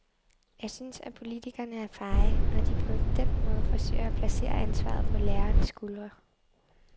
Jeg synes, at politikerne er feje, når de på den måde forsøger at placere ansvaret på lærernes skuldre.